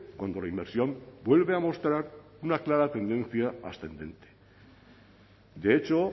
cuando la inversión vuelve a mostrar una clara tendencia ascendente de hecho